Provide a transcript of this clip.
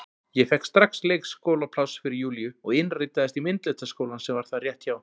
Ég fékk strax leikskólapláss fyrir Júlíu og innritaðist í myndlistarskólann sem var þar rétt hjá.